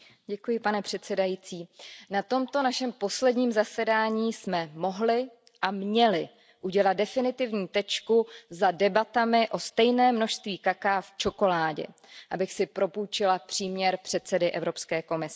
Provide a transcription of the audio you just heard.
Pane předsedající, na tomto našem posledním zasedání jsme mohli a měli udělat definitivní tečku za debatami o stejném množství kakaa v čokoládě abych si propůjčila příměr předsedy Evropské komise.